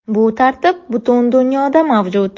Bu tartib butun dunyoda mavjud.